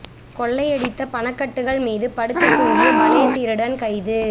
கொள்ளையடித்த பண கட்டுகள் மீது படுத்து தூங்கிய பலே திருடன் கைது